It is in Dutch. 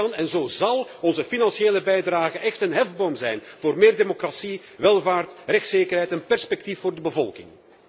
Zo kan en zal onze financiële bijdrage echt een hefboom zijn voor meer democratie, welvaart, rechtszekerheid en perspectief voor de bevolking.